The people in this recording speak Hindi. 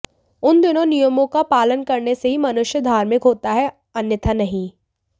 उन दोनें नियमों का पालन करने से ही मनुष्य धार्मिक होता है अन्यथा नहीं